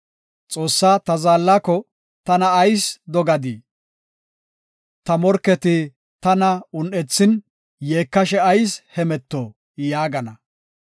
Xoossaa, ta zaallako, “Tana ayis dogadii? Ta morketi tana un7ethin, yeekashe ayis hemeto” yaagana.